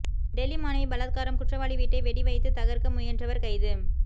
டெல்லி மாணவி பலாத்காரம் குற்றவாளி வீட்டை வெடி வைத்து தகர்க்க முயன்றவர் கைது